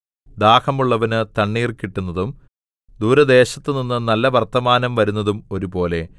ദാഹമുള്ളവന് തണ്ണീർ കിട്ടുന്നതും ദൂരദേശത്തുനിന്ന് നല്ല വർത്തമാനം വരുന്നതും ഒരുപോലെ